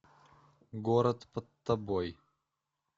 город под тобой